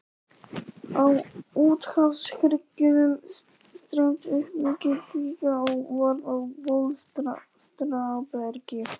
Á úthafshryggjunum streymdi upp mikil kvika og varð að bólstrabergi.